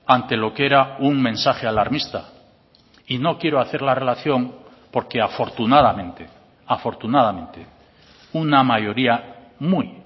ante lo que era un mensaje alarmista y no quiero hacer la relación porque afortunadamente afortunadamente una mayoría muy